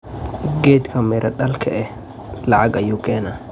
Geedhga mira dhalka eh lacag ayu keena.